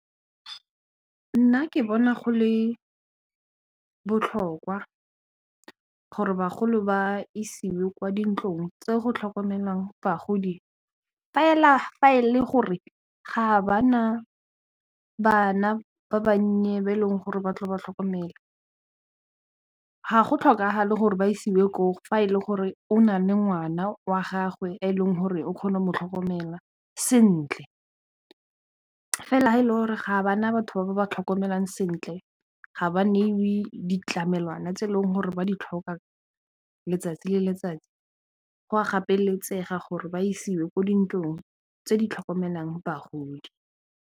Nna ke bona go le botlhokwa gore bagolo ba isiwe kwa dintlong tse go tlhokomelang bagodi fela fa e le gore ga ba na bana ba bannye ba e leng gore ba tle ba tlhokomele, ga go tlhokagale gore ba isiwe ko fa e le gore o na le ngwana wa gagwe e leng gore o kgone go tlhokomelwa sentle fela ga e le gore ga bana batho ba ba tlhokomelang sentle ga ba neiwe ditlamelwana tse e leng gore ba di tlhoka letsatsi le letsatsi go a gapeletsega gore ba isiwe kwa dintlong tse di tlhokomelang bagodi.